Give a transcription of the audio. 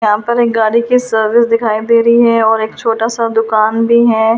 यहां पर एक गाड़ी की सर्विस दिखाई दे रही है और एक छोटा सा दुकान भी है।